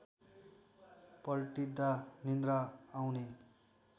पल्टिँदा निन्द्रा आउने